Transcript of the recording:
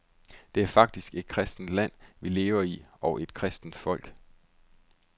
Det er faktisk et kristent land, vi lever i, og et kristent folk.